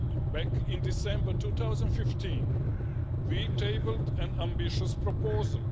Back in December 2015, we tabled an ambitious proposal.